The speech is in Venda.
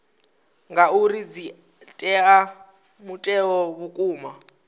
ngauri dzi ea mutheo vhukuma